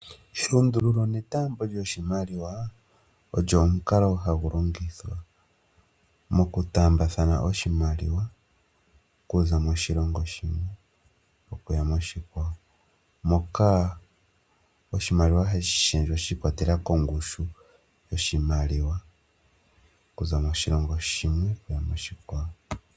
Elundululo netaambo lyoshimaliwa olyo omukalo hagu longithwa mokutaambathana oshimaliwa okuza moshilongo shimwe okuya moshikwawo moka oshimaliwa hashi lundululwa shi ikwatelela kongushu yoshimaliwa okuza moshilongo shimwe okuya moshikwawo.